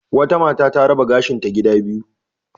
Wata mata ta raba gashinta gida biyu.